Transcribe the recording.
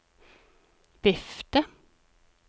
vifte